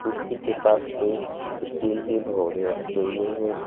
कुर्सी के पास पे स्टील के भगौने रखें हुये हैं।